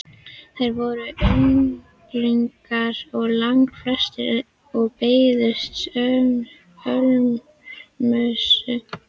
Þeir voru unglingar langflestir og beiddust ölmusu.